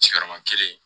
Sigiyɔrɔma kelen